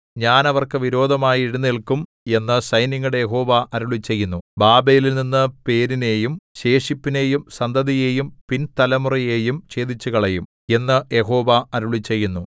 ഞാൻ അവർക്ക് വിരോധമായി എഴുന്നേല്ക്കും എന്നു സൈന്യങ്ങളുടെ യഹോവ അരുളിച്ചെയ്യുന്നു ബാബേലിൽനിന്നു പേരിനെയും ശേഷിപ്പിനെയും സന്തതിയെയും പിൻതലമുറയെയും ഛേദിച്ചുകളയും എന്നു യഹോവ അരുളിച്ചെയ്യുന്നു